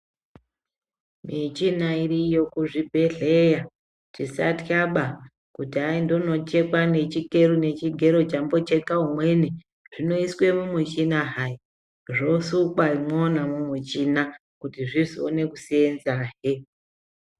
Michina iriyo kuzvibhedhleya. Tisatyaba, kuti hai ndonochekwa nechigero nechigero chambocheka umweni. Zvinoiswe mumuchina hai, zvosukwa imwona imwo mwumwuchina kuti zvizoona kuseenzahe